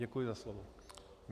Děkuji za slovo.